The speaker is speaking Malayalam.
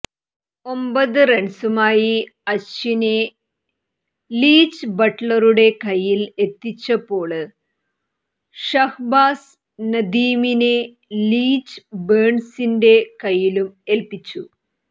ഒമ്പത് റണ്സുമായി അശ്വിനെ ലീച്ച് ബട്ളറുടെ കയ്യില് എത്തിച്ചപ്പോള് ഷഹ്ബാസ് നദീമിനെ ലീച്ച് ബേണ്സിന്റെ കയ്യിലും ഏല്പ്പിച്ചു